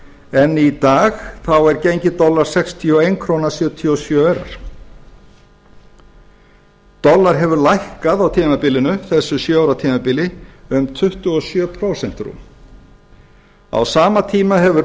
en í dag er gengi dollara sextíu og einn komma sjötíu og sjö krónur dollari hefur lækkað á tímabilinu þessu sjö ára tímabili um tuttugu og sjö prósent rúm á sama tíma hefur